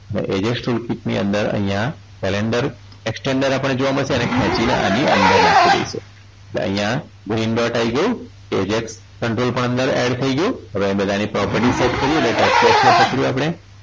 અને ags tool kit ની અંદર અહીંયા calendor tax ની અંદર આપણને જોવા મળશે એને ખેંચીને આની અંદર નાખી દઈશું એટલે અહીંયા green dot આવી ગયું ags control પણ અંદર add થઈ ગયું હવે આની અંદર પ્રોપર્ટી સેટ કરીએ એટલે tax box ને પકડ્યું આપણે